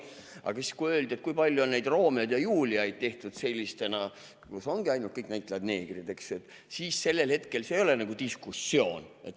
Aga kui öeldi, kui palju on neid Romeoid ja Juliaid tehtud sellistena, kus ongi kõik näitlejad neegrid, siis sellel hetkel see ei ole nagu diskussioon.